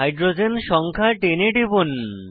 hydrogen সংখ্যা 10 এ টিপুন